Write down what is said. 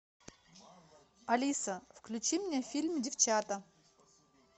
алиса включи мне фильм девчата